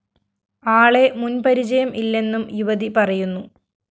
ആളെ മുന്‍ പരിജയം ഇല്ലെന്നും യുവതി പറയുന്നു